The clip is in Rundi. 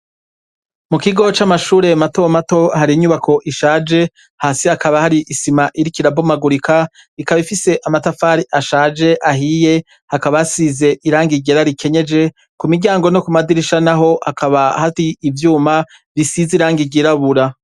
Mu kigo c'amashureye matomato hari inyubako ishaje hasi hakaba hari isima iri kirabomagurika ikaba ifise amatafari ashaje ahiye hakabasize irangigira rikenyeje ku miryango no ku madirisha na ho hakaba hari ivyuma bisize irangigirabura.